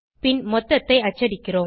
பின் மொத்தத்தை அச்சடிக்கிறோம்